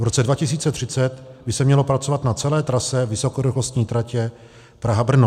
V roce 2030 by se mělo pracovat na celé trase vysokorychlostní tratě Praha-Brno.